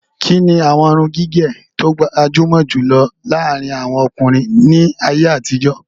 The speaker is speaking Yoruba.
Kíni àwọn irun gígẹ̀ tí ó gbajumo jùlọ láàrin àwọn ọkùnrin ní ayé àtijó?